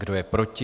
Kdo je proti?